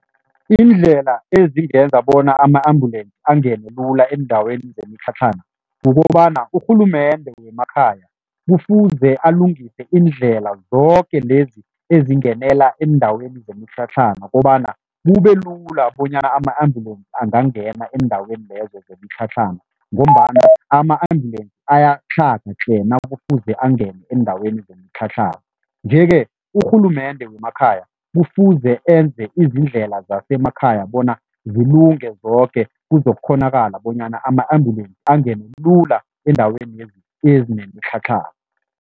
Iindlela ezingenza bona ama-ambulance angene lula eendaweni zemitlhatlhana kukobana urhulumende wemakhaya kufuze alungise iindlela zoke lezi ezingenela eendaweni zemitlhatlhana kobana kube lula bonyana ama-ambulensi angangena eendaweni lezo zemitlhatlhana ngombana ama-ambulensi ayatlhaga tle nakufuze angene eendaweni zemitlhatlhana, nje-ke urhulumende wemakhaya kufuze enze izindlela zasemakhaya bona zilungele zoke kuzokghonakala bonyana ama-ambulance angene lula eendaweni ezinemitlhatlhana.